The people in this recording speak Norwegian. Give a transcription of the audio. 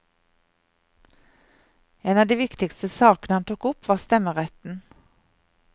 En av de viktigste sakene han tok opp var stemmeretten.